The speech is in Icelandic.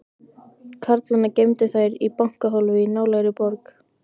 Karlana geymdu þær í bankahólfi í nálægri borg.